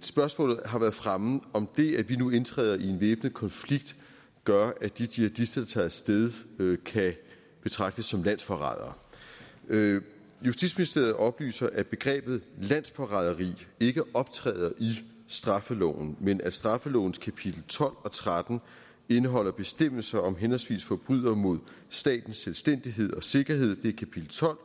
spørgsmålet har været fremme om det at vi nu indtræder i en væbnet konflikt gør at de jihadister der tager af sted kan betragtes som landsforrædere justitsministeriet oplyser at begrebet landsforræderi ikke optræder i straffeloven men at straffelovens kapitel tolv og tretten indeholder bestemmelser om henholdsvis forbrydelser mod statens selvstændighed og sikkerhed det er kapitel tolv